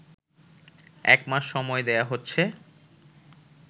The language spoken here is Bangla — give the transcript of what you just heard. একমাস সময় দেয়া হচ্ছে